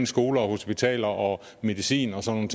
skoler hospitaler og medicin og sådan